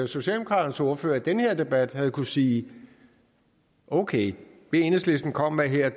socialdemokraternes ordfører i den her debat havde kunnet sige okay det enhedslisten kommer med her er